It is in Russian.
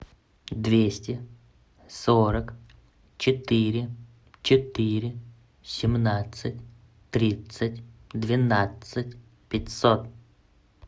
двести сорок четыре четыре семнадцать тридцать двенадцать пятьсот